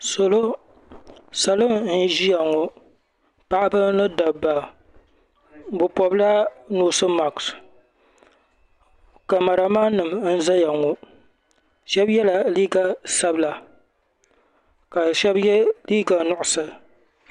Salo n ʒiya ŋɔ paɣaba ni dabba bɛ pobila noosi maks kamaraman nima n zaya ŋɔ shɛb yela liika sabila ka shɛb ye liiga nuɣuso.